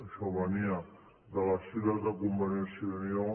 això venia de les files de convergència i unió